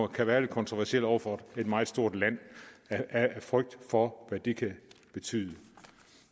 kan være lidt kontroversiel over for et meget stort land af frygt for hvad det kan betyde